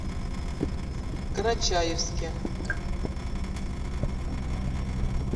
карачаевске